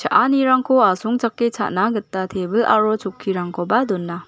asongchake cha·na gita tebil aro chokkirangkoba dona.